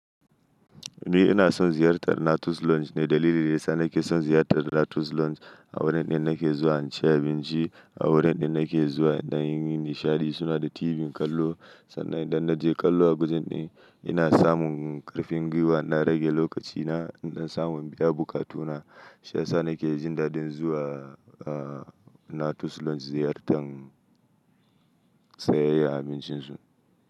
Ni ina son ziyartar Natus Lounge ne dalili daya sa nake son ziyartar Natus Lounge a wurin din nake zuwa in ci abinci, a wurin da nake zuwa in dan yi nishaɗi. Suna da TV kallo sannan idan na je kallo a gujen din ina samun ƙarfin gwiwa. Na rage lokacina in na samu abubuwa katuna. Shiyasa nake jin dadin zuwa Natus Lounge ziyartar sayayyan abincin su.